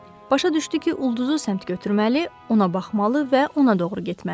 Başa düşdü ki, ulduzu səmt götürməli, ona baxmalı və ona doğru getməlidir.